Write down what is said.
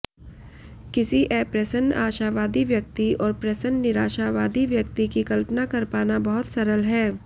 किसी अप्रसन्न आशावादी व्यक्ति और प्रसन्न निराशावादी व्यक्ति की कल्पना कर पाना बहुत सरल है